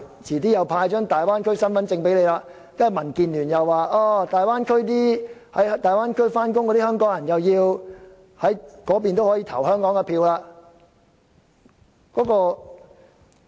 遲些再派發大灣區身份證，接着民建聯又說在大灣區上班的香港人應可以在那裏就香港的選舉投票。